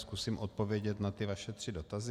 Zkusím odpovědět na ty vaše tři dotazy.